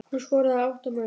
Hún skoraði átta mörk.